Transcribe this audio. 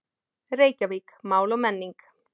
Reykjavík: Mál og menning.